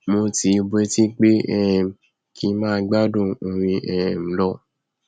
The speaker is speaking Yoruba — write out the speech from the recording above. mo tìí bọtí pé um kí ng máa gbádùn orin um lọ